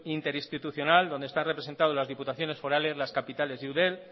interinstitucional donde están representado las diputaciones forales las capitales y eudel